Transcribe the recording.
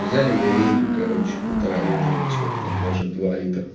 взяли миринду короче полтора литра или сколько там даже два литра